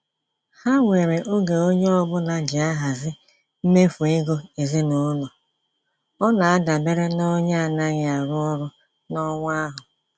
Ha nwere oge onye ọbụla ji ahazi mmefu ego ezinaụlọ, ọ na adabere n'onye anaghị arụ ọrụ n'ọnwa ahu